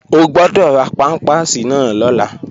O gbọ́dọ̀ ra pámpàsì náà lọ́la!